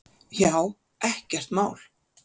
Já, ekkert mál!